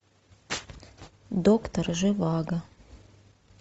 доктор живаго